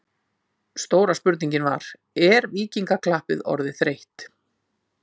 Stóra spurningin var: Er Víkingaklappið orðið þreytt?